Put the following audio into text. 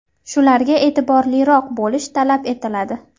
Shularga eʼtiborliroq bo‘lish talab etiladi.